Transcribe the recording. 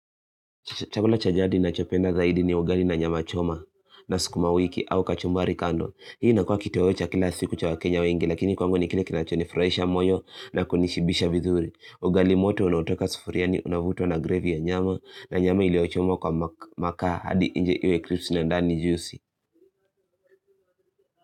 Chakula cha jadi nachopenda zaidi ni ugali na nyama choma na sikuma wiki au kachombari kando. Hii inakua kitoweo cha kila siku cha wakenya wengi lakini kwangu ni kile kinachonifurahisha moyo na kunishibisha vizuri. Ugali moto unaotoka sufuriani unavutwa na gravy ya nyama na nyama iliyochomwa kwa makaa hadi inje iwe clipsi na ndani juicy.